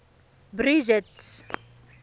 bridget